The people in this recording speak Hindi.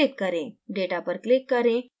data पर click करें